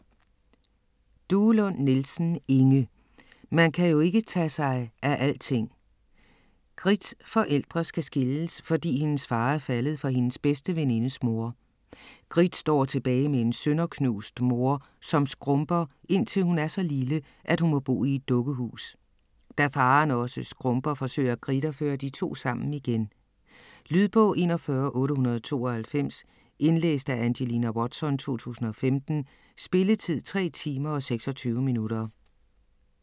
Duelund Nielsen, Inge: Man kan jo ikke tage sig af alting Gritts forældre skal skilles, fordi hendes far er faldet for hendes bedste venindes mor. Gritt står tilbage med en sønderknust mor, som skrumper indtil hun er så lille, at hun må bo i et dukkehus. Da faren også skrumper, forsøger Gritt at føre de to sammen igen. Lydbog 41892 Indlæst af Angelina Watson, 2015. Spilletid: 3 timer, 26 minutter.